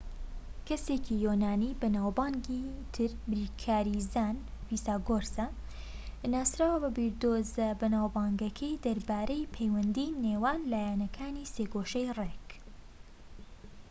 کەسێکی یۆنانیی بەناوبانگی تر بیرکاریزان فیساگۆرسە ناسراوە بە بیردۆزە بەناوبانگەکەی دەربارەی پەیوەندی نێوان لایەکانی سێگۆشەی ڕێك